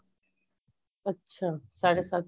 ਅੱਛਾ ਸਾਡੇ ਸੱਤ